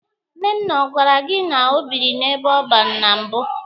Nnenna ọ gwara gị na ọ biri n'ebe ọban na mbụ?